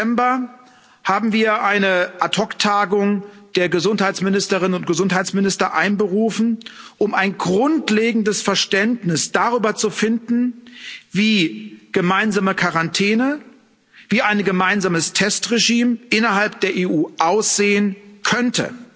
4. September haben wir eine Ad hoc Tagung der Gesundheitsministerinnen und Gesundheitsminister einberufen, um ein grundlegendes Verständnis darüber zu finden, wie gemeinsame Quarantäne, wie ein gemeinsames Testregime innerhalb der EU aussehen könnte